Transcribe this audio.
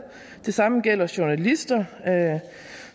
det samme gælder journalister